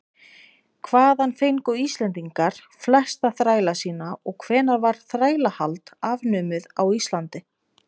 hvaðan fengu íslendingar flesta þræla sína og hvenær var þrælahald afnumið á íslandi